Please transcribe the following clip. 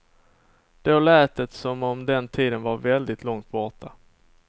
Då lät det som om den tiden var väldigt långt borta.